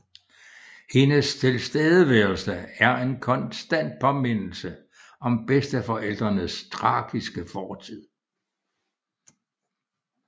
Hendes tilstedeværelse er en konstant påmindelse om bedsteforældrenes tragiske fortid